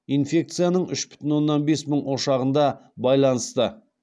инфекцияның үш бүтін оннан бес мың ошағында байланысты